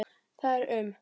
Það er um